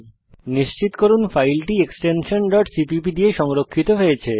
নিশ্চিত করুন ফাইলটি এক্সটেনশন cpp দিয়ে সংরক্ষিত হয়েছে